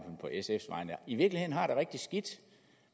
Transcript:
i virkeligheden har det rigtig skidt